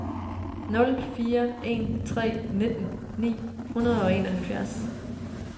nul fire en tre nitten ni hundrede og enoghalvfjerds